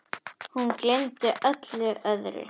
Hún gleymdi öllu öðru.